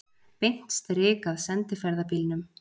Beint strik að sendiferðabílnum.